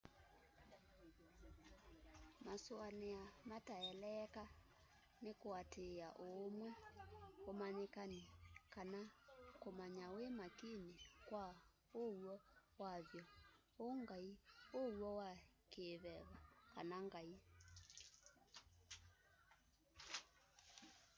masũanĩa mataeleeka nĩ kũatĩĩa ũũmwe ũmanyĩkani kana kũmanya wi makini kwa ũw'o wa vyũ ũ'ngai ũw'o wa kĩĩveva kana ngai